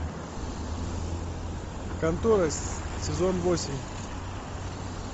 контора сезон восемь